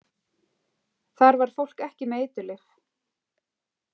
Þar var fólk ekki með eiturlyf.